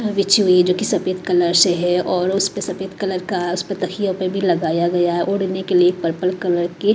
बिची हुई जो कि सफेद कलर से है और उस पे सफेद कलर का उस पर तखियों पे भी लगाया गया है ओढ़ने के लिए पर्पल कलर की --